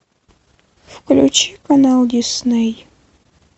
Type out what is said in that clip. включи канал дисней